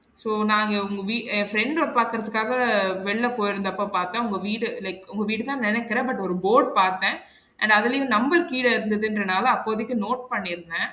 So நாங்க உங்க வீ~ friend ஆ பாக்குறதுக்காக வெளில போயிருந்தப்போ பாத்தன் உங்க வீடு like உங்க வீடு தான் நெனைக்குறேன் but ஒரு board பாத்தன் and அதுலயும் number கீழ இருந்ததுங்குறனால அப்போதைக்கு note பண்ணி இருந்தேன்